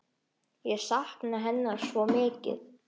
Ég sakna hennar svo mikið.